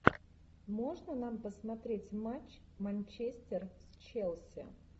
можно нам посмотреть матч манчестер с челси